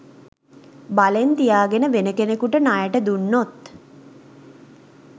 බලෙන් තියාගෙන වෙන කෙනෙකුට ණයට දුන්නොත්